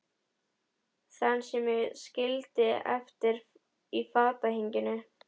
Þann sem ég skildi eftir í fatahenginu.